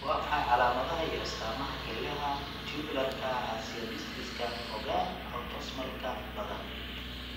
Waa maxay calaamadaha iyo astaamaha kelyaha tubularka acidosiska, fogaan, autosomal-ka badan?